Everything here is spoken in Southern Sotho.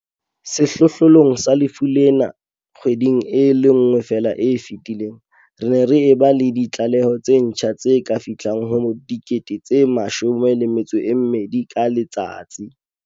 Sehlohlolong sa lefu lena kgweding e le nngwe feela e fetileng, re ne re ba le ditlaleho tse ntjha tse ka fihlang ho 12 000 ka letsatsi.